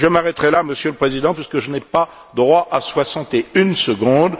Je m'arrêterai là, Monsieur le Président, puisque je n'ai pas droit à soixante et une secondes.